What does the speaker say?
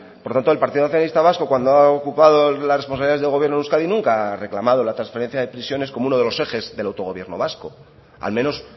por tanto el partido nacionalista vasco cuando ha ocupado las responsabilidades de gobierno en euskadi nunca ha reclamado la transferencia de prisiones como uno de los ejes del autogobierno vasco al menos